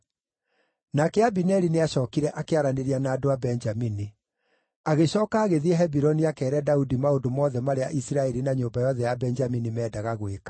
Nake Abineri nĩacookire akĩaranĩria na andũ a Benjamini. Agĩcooka agĩthiĩ Hebironi akeere Daudi maũndũ mothe marĩa Isiraeli na nyũmba yothe ya Benjamini meendaga gwĩka.